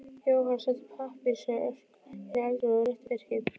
Jóhann sótti pappírsörk inn í eldhúsið og rétti Birki.